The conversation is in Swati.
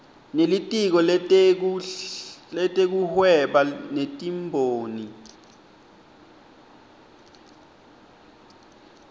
nelitiko letekuhweba netimboni